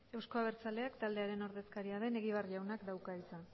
euzko abertzaleak taldearen ordezkaria den egibar jaunak dauka hitza